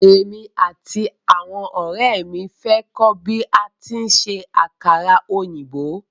Émi àti àwọn ọ̀rẹ́ ẹ̀ mi fẹ́ kọ́ bí a tí ń ṣe àkàrà òyìnbó.